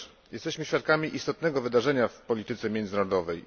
Jesteśmy świadkami istotnego wydarzenia w polityce międzynarodowej.